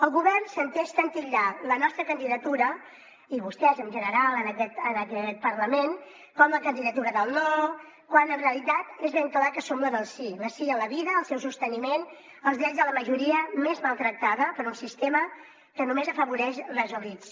el govern s’entesta en titllar la nostra candidatura i vostès en general en aquest parlament com la candidatura del no quan en realitat és ben clar que som la del sí el sí a la vida al seu sosteniment als drets de la majoria més maltractada per un sistema que només afavoreix les elits